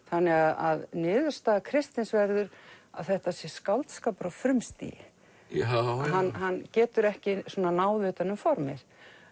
þannig að niðurstaða Kristins verður að þetta sé skáldskapur á frumstigi hann hann getur ekki náð utan um formið